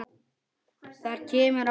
Þar kemur fram